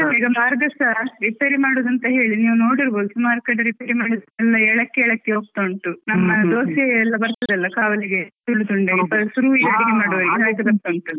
ಈಗ ಮಾರ್ಗಸಾ ರಿಪೇರಿ ಮಾಡುದಂತ ಹೇಳಿ ನೀವ್ ನೋಡಿರ್ಬೋದು, ಸುಮಾರ್ ಕಡೆ ರಿಪೇರಿ ಮಾಡಿಸ್ತಾ ಎಲ್ಲ ಎಲ್ಲಕ್ಕೆ ಎಲ್ಲಕೆ ಹೋಗ್ತಾ ಉಂಟು ನಮ್ಮ ದೋಸೆ ಎಲ್ಲ ಬರ್ತದೆ ಅಲ್ಲ ಕಾವಲಿಗೆ .